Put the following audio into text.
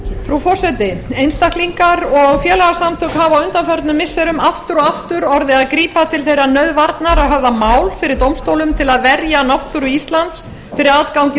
frú forseti einstaklingar og félagasamtök hafa á undanförnum missirum aftur og aftur orðið að grípa til þeirrar nauðvarnar að höfða mál fyrir dómstólum til að verja náttúru íslands fyrir aðgangi